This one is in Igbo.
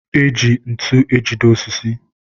e ji ntu ejide osisi.